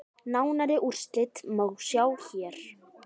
Nánari úrslit má sjá hér.